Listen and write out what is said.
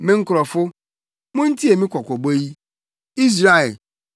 “Me nkurɔfo, muntie me kɔkɔbɔ yi, Israel, sɛ mubetie me a!